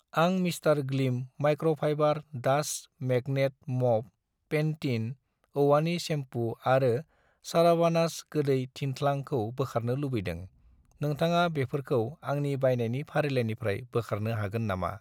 आं mister Gleam microfiber dust magnet mop , पेन्टिन औवानि सेम्पु आरो सारावानास गोदै थिंथ्लां खौ बोखारनो लुबैदों, नोंथाङा बेफोरखौ आंनि बायनायनि फारिलाइनिफ्राय बोखारनो हागोन नामा?